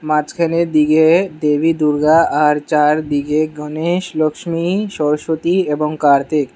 মাঝখানের দিগে দেবী দুর্গা আর চারদিগে গণেশ লক্সমী সরস্বতী এবং কার্তিক --